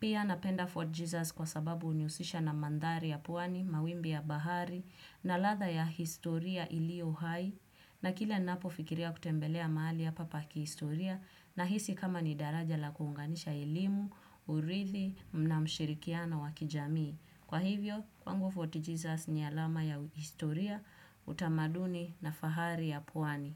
Pia napenda Fort Jesus kwa sababu hunihusisha na mandhari ya pwani, mawimbi ya bahari na ladha ya historia iliyo hai na kila ninapofikiria kutembelea mahali ya pa kihistoria nahisi kama ni daraja la kuunganisha elimu, urithi na mshirikiano wa kijamii. Kwa hivyo, kwangu Fort Jesus ni alama ya historia, utamaduni na fahari ya pwani.